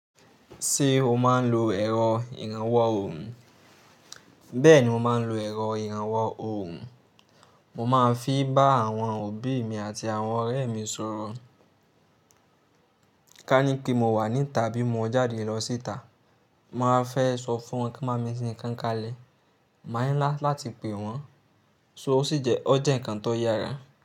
Ṣé o máa ń lo ẹ̀rọ ìrànwọ́ òhùn? Bẹ́ẹ̀ni mo máa ń lo ẹ̀rọ ìrànwọ́ òhùn. Mo máa ń fi bá àwọn òbí mi àti àwọn ọ̀rẹ́ mi sọ̀rọ̀. Ká ní pé mo wà níta bí mo jáde lọ síta, mo wá fẹ́ sọ fún wọn kí wọ́n kán bámi ṣètò nǹkán kalẹ̀. Máa ń láti pè wọ́n, so ó sì jẹ́ ọ́ jẹ́ nǹkan tó yára.